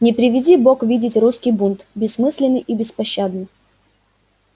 не приведи бог видеть русский бунт бессмысленный и беспощадный